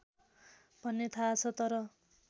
भन्ने थाहा छ तर